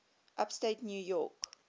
upstate new york